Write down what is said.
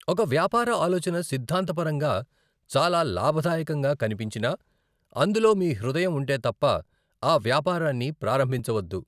ఒక వ్యాపార ఆలోచన సిద్ధాంతపరంగా చాలా లాభదాయకంగా కనిపించినా, అందులో మీ హృదయం ఉంటే తప్ప ఆ వ్యాపారాన్ని ప్రారంభించవద్దు.